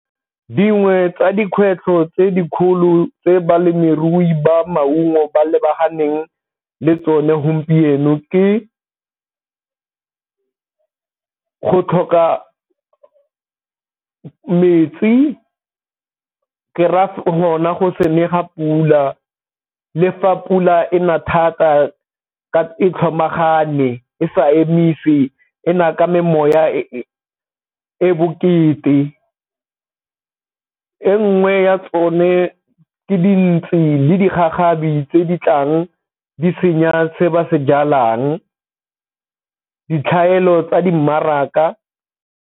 Dingwe tsa dikgwetlho tse dikgolo tse balemirui ba maungo ba lebaganeng le tsone gompieno ke go tlhoka metsi, ke raya gona go se ne ga pula le fa pula ena thata e tlhomagane e sa emise, ena ka e e bokete. E nngwe ya tsone tse dintshi le digagabi tse di tlang di senya se ba se jalang, ditlhaelo tsa di mmaraka.